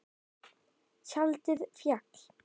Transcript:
Tjaldið féll.